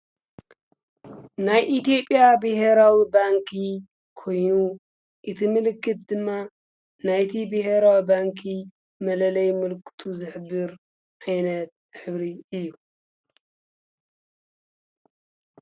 ናይ ኢቲዮጴያ ብሄራዊ ባንኪ ኮይኑ እቲ ምልክት ድማ ናይቲ ብሄራዊ ባንኪ መለለይ ምልክቱ ዝኅብር ዓይነት ኅብሪ እዩ።